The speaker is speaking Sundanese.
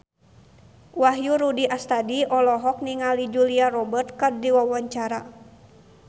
Wahyu Rudi Astadi olohok ningali Julia Robert keur diwawancara